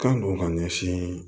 Kan don ka ɲɛsin